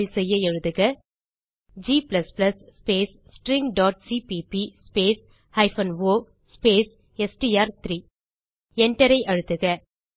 compile செய்ய எழுதுக g space stringசிபிபி ஸ்பேஸ் o ஸ்பேஸ் எஸ்டிஆர்3 Enter ஐ அழுத்துக